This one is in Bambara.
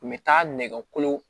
U bɛ taa nɛgɛkolo